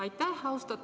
Aitäh!